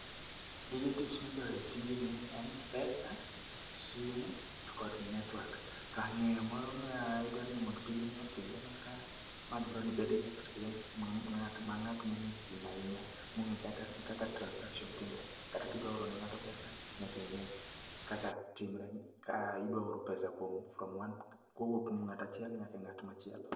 Gige tich midwaro e tijni gin pesa, simu kod network. To ng'eyo moro madwaro mondo tijni otimre makare, ma dwaro ni ibed gi experience mar ng'at mong'eyo simu ahinya mong'eyo kata kaka transaction timore .Kata kidwa oro ne ng'ato pesa nyaka ing'e kaka timre, kidwa oro pesa koa, from one, kowuok kuom ng'at achiel nyaka ng'at machielo.